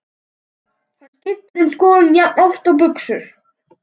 Hann skiptir um skoðun jafnoft og buxur.